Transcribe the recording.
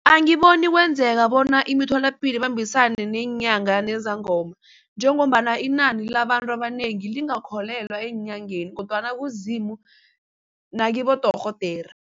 Angiboni kwenzeka bona imitholapilo ibambisane neenyanga nezangoma njengombana inani labantu abanengi lingakholelwa eenyangeni kodwana kuZimu nakibodorhodere.